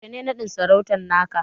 Yaushe ne naɗin sarautan naka?